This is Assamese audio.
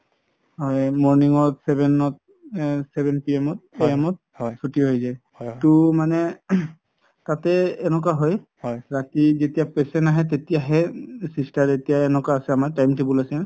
হয় morning ত seven ত seven PM AM ত চুতি হয় যাই মানে তাতে এনেকুৱা হয় ৰাতি য্তিয়া patient আহে তেতিয়া হে sister কেইতা এতিয়া এনেকুৱা আছে আমাৰ time table আছে